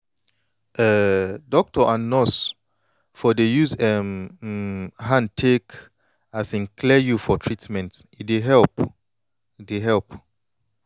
um doctor or nurse for dey use em um hand take um clear you for treatment e dey help dey help